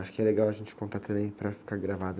Acho que é legal a gente contar também para ficar gravado.